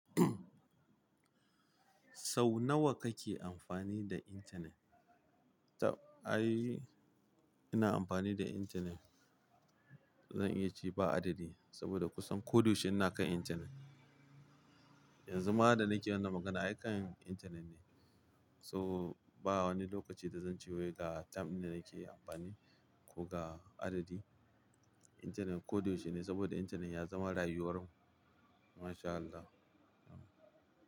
Sau nawa kake amfani da intanet? Tab ai ina amfani da intanet, zan iya ce ba adadi saboda kusan ko da yaushe ina kan intanet. Yanzu ma da nake wannan magana, ai kan intanet ne. So ba wani lokaci da zan ce wai ga tam din da nake amfani ko ga adadi. Intanet ko da yaushe ne saboda intanet ya zama rayuwar mu. MashAllah.